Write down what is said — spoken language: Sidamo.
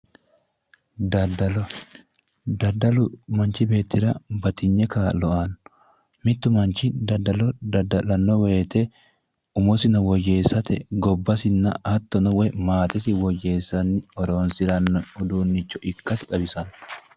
daddalo machi beettira lowo kaa'lo aanno mittu manchi dadda'lanno woyte umosino woyyeessate gobasino hattono maatesi woyyeessanni horosiranno uduunnicho ikkasi xawisanno